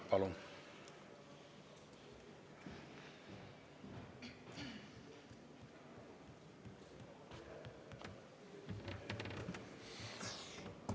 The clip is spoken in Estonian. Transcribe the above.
Palun!